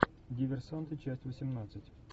диверсанты часть восемнадцать